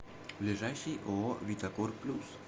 ближайший ооо витакор плюс